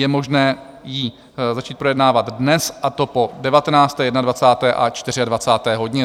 Je možné ji začít projednávat dnes, a to po 19., 21. a 24. hodině.